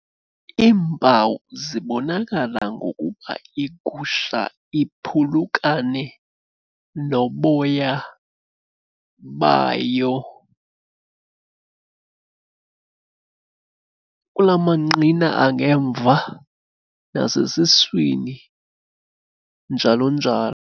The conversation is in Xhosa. Iimpawu zibonakala ngokuba igusha iphulukane noboya bayo kula manqina angemva nasesiswini, njalo njalo.